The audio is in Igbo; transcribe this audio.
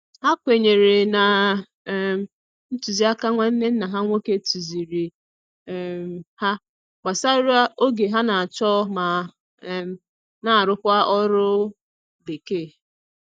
Ha kwenyere na um ntuzi aka nwanne nna ha nwoke tuziri um ha gbasara oge ha n', acho ma um na arukwa oru bekee